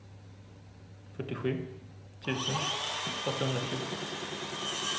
fyrtiosju tusen åttahundrafjorton